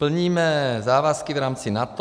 Plníme závazky v rámci NATO.